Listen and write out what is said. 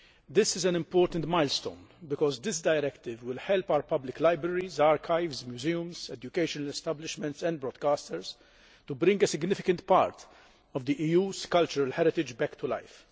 This is an important milestone because this directive will help our public libraries, archives, museums, educational establishments and broadcasters to bring a significant part of the EU's cultural heritage back to life.